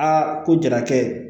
Aa ko jarakɛ